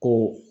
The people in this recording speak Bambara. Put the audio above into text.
Ko